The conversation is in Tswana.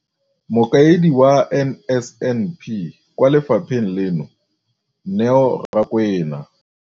Mokaedi wa NSNP kwa lefapheng leno, Neo Rakwena.